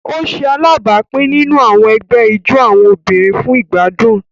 O ṣe alábápin nínú àwọn ègbé ijó àwọn obìnrin fún igbadun.